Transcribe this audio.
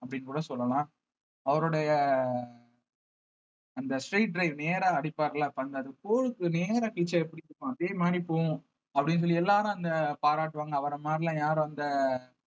அப்படின்னு கூட சொல்லலாம் அவருடைய அந்த straight drive நேரா அடிப்பார்ல பந்து அது four க்கு நேரா கிழிச்சா எப்படி இருக்கும் அதே மாதிரி போகும் அப்படின்னு சொல்லி எல்லாரும் அந்த பாராட்டுவாங்க அவரை மாதிரிலாம் யாரும் அந்த